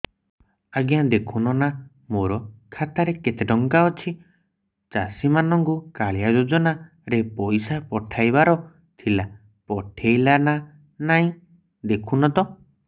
ଆଜ୍ଞା ଦେଖୁନ ନା ମୋର ଖାତାରେ କେତେ ଟଙ୍କା ଅଛି ଚାଷୀ ମାନଙ୍କୁ କାଳିଆ ଯୁଜୁନା ରେ ପଇସା ପଠେଇବାର ଥିଲା ପଠେଇଲା ନା ନାଇଁ ଦେଖୁନ ତ